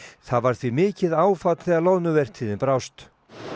það varð því mikið áfall þegar loðnuvertíðin brást